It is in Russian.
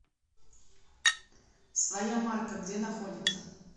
своя марка где находится